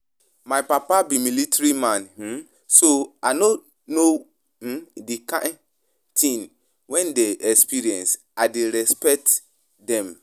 My papa be military man um so I no know um the kyn thing dem dey experience. I dey respect dem